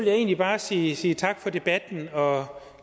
jeg egentlig bare sige sige tak for debatten og